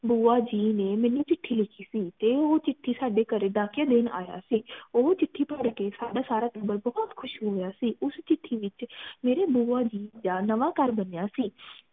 ਬੁਆ ਜੀ ਨੇ ਮੇਨੂ ਚਿਠੀ ਲਿਖੀ ਸੀ ਤੇ ਉਹ ਚਿਠੀ ਸਾਡੇ ਘਰੇ ਡਾਕੀਆ ਦੇਣ ਆਯਾ ਸੀ ਉਹ ਚਿਠੀ ਪੜਕੇ ਸਾਡਾ ਸਾਰਾ ਟੱਬਰ ਬਹੁਤ ਖੁਸ਼ ਹੋਇਆ ਸੀ ਉਸ ਚਿਠੀ ਵਿਚ ਮੇਰੀ ਬੁਆ ਜੀ ਦਾ ਨਵਾਂ ਨਵਾਂ ਘਰ ਬਣਿਆ ਸੀ